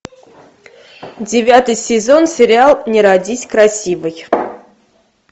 девятый сезон сериал не родись красивой